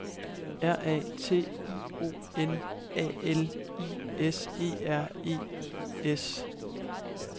R A T I O N A L I S E R E S